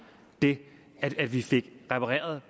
det at vi fik repareret